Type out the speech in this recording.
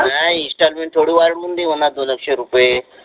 installment थोडि वाढवुन देऊ म्हणा दोनक्शे रुपये